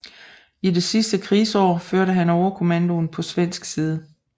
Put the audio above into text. I det sidste krigsår førte han overkommandoen på svensk side